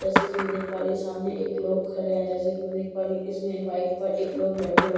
जैसा की मैं देख पा रही हूँ सामने एक लोग खड़े है जैसा की मैं देख पा रही हूँ इसमे ये पाइप पर एक लोग बैठे हुए --